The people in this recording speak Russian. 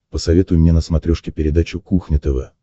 посоветуй мне на смотрешке передачу кухня тв